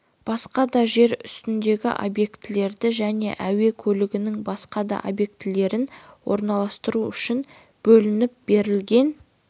басқа да жер үстіндегі объектілерді және әуе көлігінің басқа да объектілерін орналастыру үшін бөлініп берілген